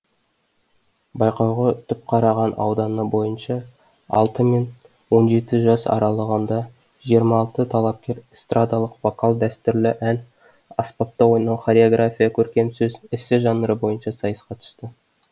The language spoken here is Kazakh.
байқауға түпқараған ауданы бойынша алты мен он жеті жас аралығында жиырма алты талапкер эстрадалық вокал дәстүрлі ән аспапта ойнау хореография көркем сөз эссе жанры бойынша сайысқа түсті